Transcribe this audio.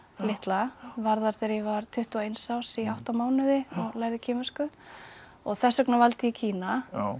litla var þar þegar ég var tuttugu og eins árs í átta mánuði og lærði kínversku og þess vegna valdi ég Kína